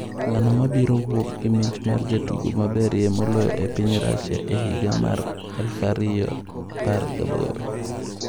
Ng'ano mabiro wuok gi mich mar jatugo maberie moloyo e piny Russia e higa mar 2018?